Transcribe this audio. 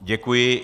Děkuji.